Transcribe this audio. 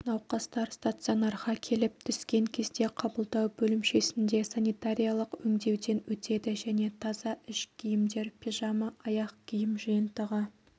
науқастар стационарға келіп түскен кезде қабылдау бөлімшесінде санитариялық өңдеуден өтеді және таза іш киімдер пижама аяқ киім жиынтығы